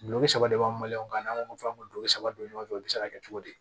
Duloki saba de b'an ka n'an ko fa ka dulo saba don ɲɔgɔn fɛ o bɛ se ka kɛ cogo di